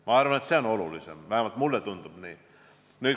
Ma arvan, et see on olulisem, vähemalt mulle tundub nii.